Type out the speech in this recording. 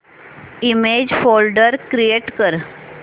image folder create कर